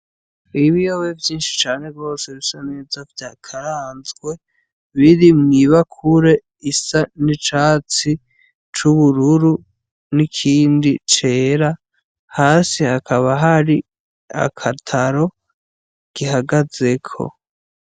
Ibi biyobe vyinshi cane rwose bisa neza vya karanzwe biri mwibakure isa n'icatsi c'ubururu n'ikindi cera hasi hakaba hari akataro gihagazeko.